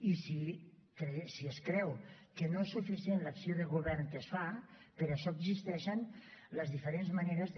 i si es creu que no és suficient l’acció de govern que es fa per a això existeixen les diferents maneres de